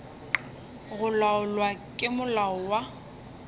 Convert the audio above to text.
go laolwa ke molao wa